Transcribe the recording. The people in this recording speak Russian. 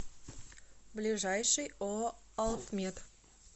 ближайший ооо алтмет